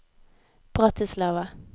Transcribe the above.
Bratislava